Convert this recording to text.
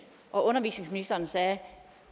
og at undervisningsministeren sagde at